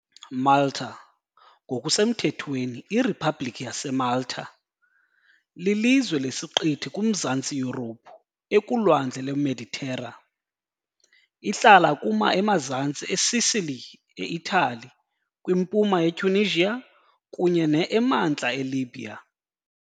Malta ngokusemthethweni iRiphabhlikhi yaseMalta, lilizwe lesiqithi kuMazantsi Yurophu, ekuLwandle lweMeditera. Ihlala kuma emazantsi eSicily, eItali, kwimpuma yeTunisia, kunye ne emantla eLibya.